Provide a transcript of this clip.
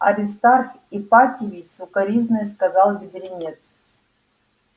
аристарх ипатьевич с укоризной сказал бедренец